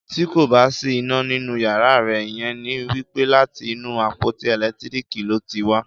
Tí kò bá sí iná nínú yàrá rẹ, ìyẹn ni wípé láti inú àpótí ẹ̀lẹ́tíríkì ló ti wá.